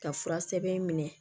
Ka fura sɛbɛn minɛ